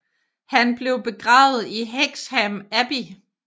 Han blev begravet i Hexham Abbey